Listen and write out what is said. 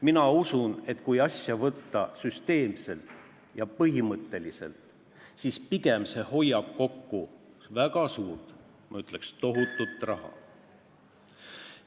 Mina usun, et kui võtta asja süsteemselt ja põhimõtteliselt, siis pigem hoiab see kokku väga suurt, ma ütleks, tohutut raha.